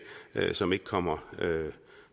som ikke kommer